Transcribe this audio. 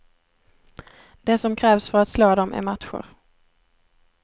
Det som krävs för att slå dem är matcher.